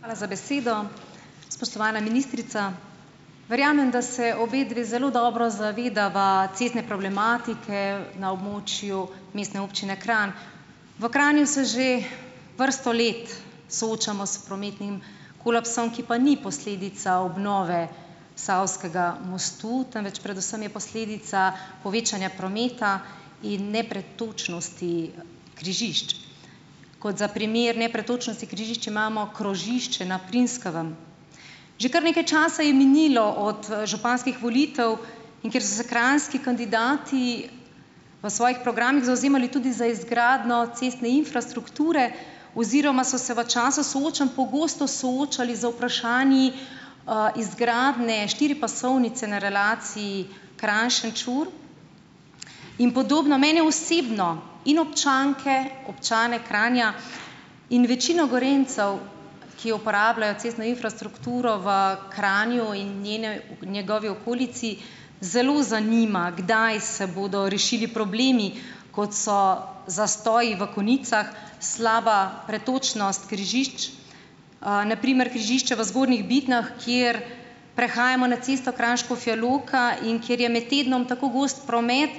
Hvala za besedo. Spoštovana ministrica, verjamem, da se obe dve zelo dobro zavedava cestne problematike na območju Mestne občine Kranj. V Kranju se že vrsto let soočamo s prometnim kolapsom, ki pa ni posledica obnove Savskega mostu, temveč predvsem je posledica povečanja prometa in nepretočnosti križišč. Kot za primer nepretočnosti križišču imamo krožišče na Primskovem. Že kar nekaj časa je minilo od, županskih volitev, in ker so se krajnski kandidati v svojih programih zavzemali tudi za izgradnjo cestne infrastrukture oziroma so se v času soočanj pogosto soočali z vprašanji, izgradnje štiripasovnice na relaciji Kranj-Šenčur in podobno, mene osebno in občanke, občane Kranja in večino Gorenjcev, ki uporabljajo cestno infrastrukturo v Kranju in njene njegovi okolici, zelo zanima, kdaj se bodo rešili problemi, kot so zastoji v konicah, slaba pretočnost križišč. Na primer križišče v Zgornjih Bitnjah, kjer prehajamo na cesto Kranj-Škofja Loka, in kjer je med tednom tako gost promet,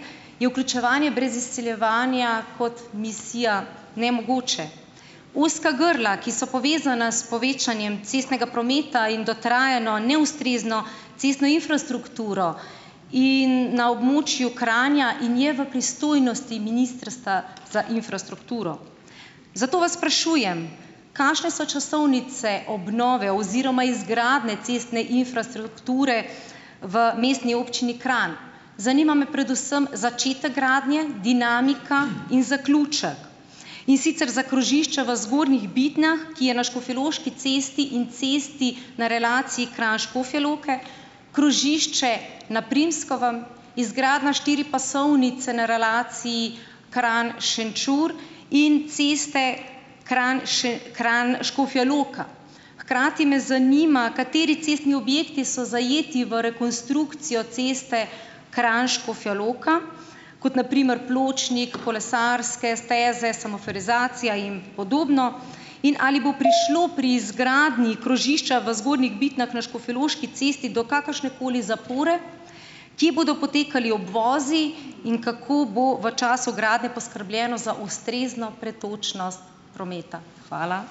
je vključevanje brez izsiljevanja kot misija nemogoče. Ozka grla, ki so povezana s povečanjem cestnega prometa in dotrajano, neustrezno cestno infrastrukturo in na območju Kranja in je v pristojnosti Ministrstva za infrastrukturo. Zato vas sprašujem, kakšne so časovnice obnove oziroma izgradnje cestne infrastrukture v Mestni občini Kranj? Zanima me predvsem začetek gradnje, dinamika in zaključek. In sicer za krožišča v Zgornjih Bitnjah, ki je na Škofjeloški cesti in cesti na relaciji Kranj-Škofja Loka, krožišče na Primskovem, izgradnja štiripasovnice na relaciji Kranj-Šenčur in ceste Kran Kranj-Škofja Loka. Hkrati me zanima, kateri cestni objekti so zajeti v rekonstrukcijo ceste Kranj-Škofja Loka, kot na primer pločnik, kolesarske steze, semaforizacija in podobno, in ali bo prišlo pri izgradnji krožišča v Zgornjih Bitnjah na Škofjeloški cesti do kakršnekoli zapore? Kje bodo potekali obvozi in kako bo v času gradnje poskrbljeno za ustrezno pretočnost prometa? Hvala.